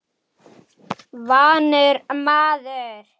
Vanur maður.